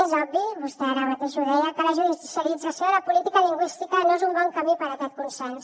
és obvi vostè ara mateix ho deia que la judicialització de la política lingüística no és un bon camí per a aquest consens